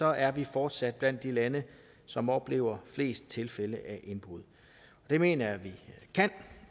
er vi fortsat blandt de lande som oplever flest tilfælde af indbrud det mener jeg vi kan